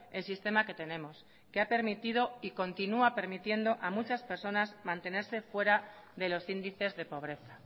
el sistema que tenemos que ha permitido y continúa permitiendo a muchas personas mantenerse fuera de los índices de pobreza